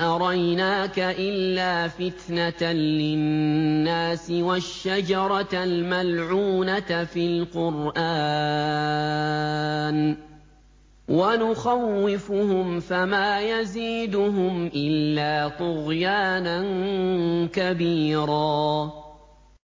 أَرَيْنَاكَ إِلَّا فِتْنَةً لِّلنَّاسِ وَالشَّجَرَةَ الْمَلْعُونَةَ فِي الْقُرْآنِ ۚ وَنُخَوِّفُهُمْ فَمَا يَزِيدُهُمْ إِلَّا طُغْيَانًا كَبِيرًا